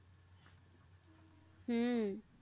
হম